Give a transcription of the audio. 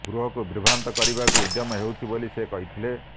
ଗୃହକୁ ବିଭ୍ରାନ୍ତ କରିବାକୁ ଉଦ୍ୟମ ହୋଇଛି ବୋଲି ସେ କହିଥିଲେ